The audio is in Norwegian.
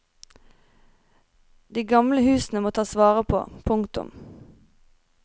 De gamle husene må tas vare på. punktum